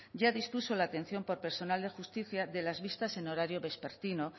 ya dispuso la atención por personal de justicia de las vistas en horario vespertino